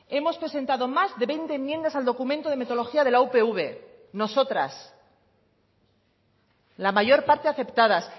hemos presentado más de veinte enmiendas al documento de metodología de la upv nosotras la mayor parte aceptadas